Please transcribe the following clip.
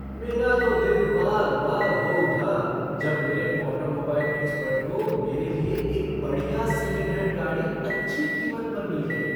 मेरा तो दिल बाग बाग हो उठा जब मेरे ऑटोमोबाइल एक्सपर्ट को मेरे लिए एक बढ़िया सेकंड हैंड गाड़ी अच्छी कीमत पर मिल गई।